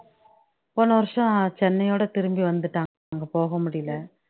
போன வருஷம் சென்னையொட திரும்பி வந்துட்டோம் அங்க போக முடியல